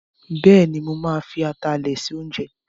Bẹ́ẹ̀ni, mo ma fi atalẹ̀ se oúnjẹ